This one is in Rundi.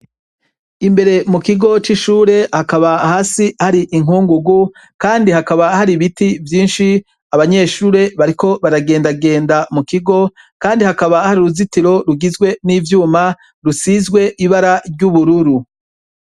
Imbere mu kigo c' ishure hakaba hasi har' inkungugu, kandi hakaba har' ibiti vyinshi, abanyeshure bariko baragendagenda mu kigo kandi hakaba har' uruzitiro rugizwe n' ivyuma rusizw' ibara ry'ubururu.